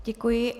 Děkuji.